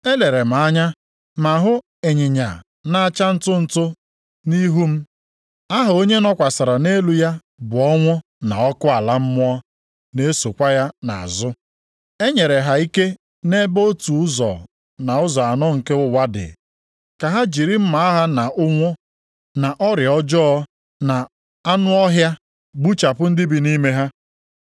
Elere m anya ma hụ ịnyịnya na-acha ntụntụ nʼihu m. Aha onye nọkwasịrị nʼelu ya bụ Ọnwụ na Ọkụ ala mmụọ na-esokwa ya nʼazụ. E nyere ha ike nʼebe otu ụzọ nʼụzọ anọ nke ụwa dị ka ha jiri mma agha na ụnwụ, na ọrịa ọjọọ na anụ ọhịa gbuchapụ ndị bi nʼime ha.